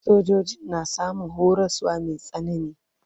Sojojin na samun horaswa mai tsanani.